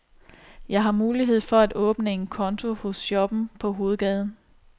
Jeg har mulighed for at åbne en konto hos shoppen på hovedgaden.